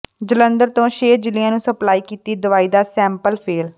ਜਲੰਧਰ ਤੋਂ ਛੇ ਜ਼ਿਲ੍ਹਿਆਂ ਨੂੰ ਸਪਲਾਈ ਕੀਤੀ ਦਵਾਈ ਦਾ ਸੈਂਪਲ ਫੇਲ੍ਹ